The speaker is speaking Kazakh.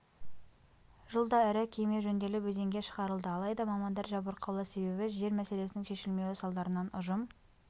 жылда ірі кеме жөнделіп өзенге шығарылды алайда мамандар жабырқаулы себебі жер мәселесінің шешілмеуі салдарынан ұжым